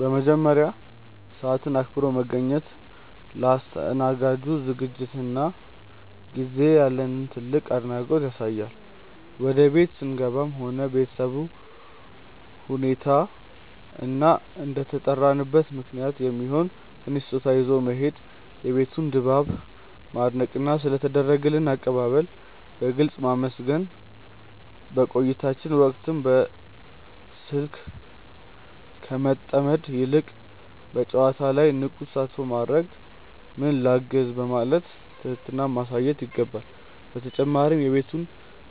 በመጀመሪያ፣ ሰዓትን አክብሮ መገኘት ለአስተናጋጁ ዝግጅትና ጊዜ ያለንን ትልቅ አድናቆት ያሳያል። ወደ ቤት ስንገባም እንደ ቤተሰቡ ሁኔታ እና እንደተጠራንበት ምክንያት የሚሆን ትንሽ ስጦታ ይዞ መሄድ፣ የቤቱን ድባብ ማድነቅና ስለ ተደረገልን አቀባበል በግልጽ ማመስገን። በቆይታችን ወቅትም በስልክ ከመጠመድ ይልቅ በጨዋታው ላይ ንቁ ተሳትፎ ማድረግና "ምን ላግዝ?" በማለት ትህትናን ማሳየት ይገባል። በተጨማሪም የቤቱን